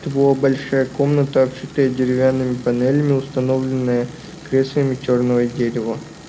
это была большая комната обшитая деревянными панелями установленная креслами чёрного дерева